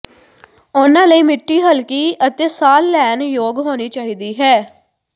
ਉਨ੍ਹਾਂ ਲਈ ਮਿੱਟੀ ਹਲਕੀ ਅਤੇ ਸਾਹ ਲੈਣ ਯੋਗ ਹੋਣੀ ਚਾਹੀਦੀ ਹੈ